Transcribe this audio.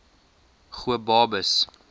gobabis